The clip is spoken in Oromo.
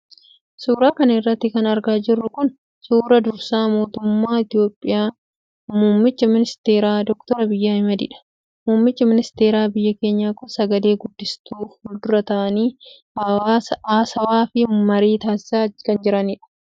Suura kana irratti kan argaa jirru kun, suura dursaa mootummaa Itoophiyaa ,muummicha Ministeeraa ,Doctor Abiy Ahimadii dha. Muummichi ministeeraa biyya keenyaa kun sagalee guddistuu fuuldura ta'anii haasawaa fi marii taasisaa taasisaa jiru.